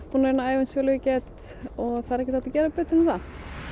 búin að æfa eins vel og ég get það er ekkert hægt að gera betur en það